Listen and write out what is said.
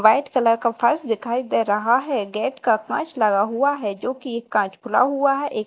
white colour का फर्श दिखाई दे रहा है गेट का कांच लगा हुआ है जो कि एक कांच खुला हुआ है एक--